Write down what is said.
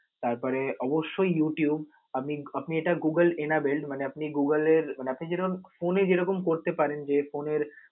তারপরে অবশ্যই youtube আপনি~ আপনি এটা Google enable মানে আপনি Google এর মানে আপনে যেরকম phone এ যেরম করতে পারেন যে phone এর